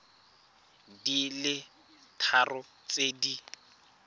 di le tharo tse di